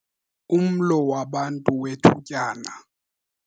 Umlo wabantu wethutyana